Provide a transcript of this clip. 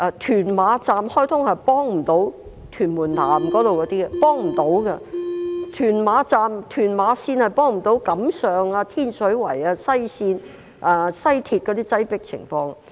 屯馬綫開通後也幫不了屯門南的居民，屯馬綫根本無法幫助解決錦上、天水圍、西鐵綫的擠迫情況。